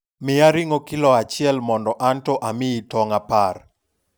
miya ring'o kilo achiel mondo anto amiyi tong' apar